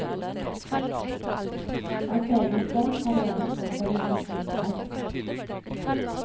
Hans egen sønn tar gjerne på seg de svartes skjerf.